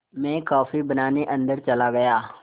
मैं कॉफ़ी बनाने अन्दर चला गया